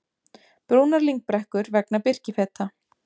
Brúnar lyngbrekkur vegna birkifeta